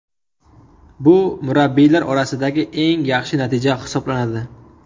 Bu murabbiylar orasidagi eng yaxshi natija hisoblanadi.